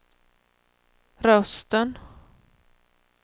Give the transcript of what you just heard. rösten